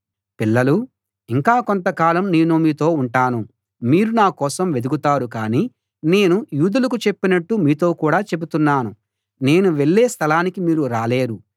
పిల్లలూ ఇంకా కొంత కాలం నేను మీతో ఉంటాను మీరు నా కోసం వెదుకుతారు కాని నేను యూదులకు చెప్పినట్టు మీతో కూడా చెబుతున్నాను నేను వెళ్ళే స్థలానికి మీరు రాలేరు